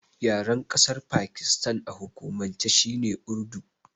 Yaren ƙasar Pakistan a hukumance shine Urdu.